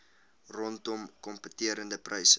rondom kompeterende pryse